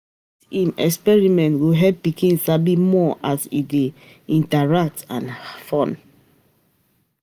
Science um experiments go help pikin sabi more as e dey um interactive and fun.